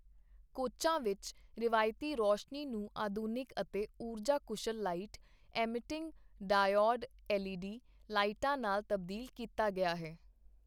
ਕੋਚਾਂ ਵਿੱਚ ਰਵਾਇਤੀ ਰੋਸ਼ਨੀ ਨੂੰ ਆਧੁਨਿਕ ਅਤੇ ੳਰਜਾ ਕੁਸ਼ਲ ਲਾਈਟ ਐਮੀਟਿੰਗ ਡਾਇਓਡ ਐੱਲਈਡੀ ਲਾਈਟਾਂ ਨਾਲ ਤਬਦੀਲ ਕੀਤਾ ਗਿਆ ਹੈ।